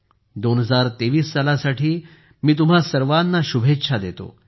2023 सालासाठी मी तुम्हा सर्वांना शुभेच्छा देतो